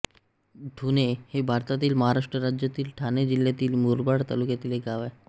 ठुणे हे भारतातील महाराष्ट्र राज्यातील ठाणे जिल्ह्यातील मुरबाड तालुक्यातील एक गाव आहे